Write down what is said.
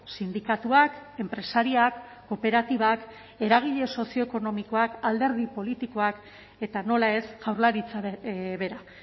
sindikatuak enpresariak kooperatibak eragile sozioekonomikoak alderdi politikoak eta nola ez jaurlaritza bera